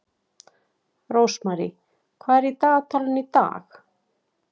Rósmarý, hvað er í dagatalinu í dag?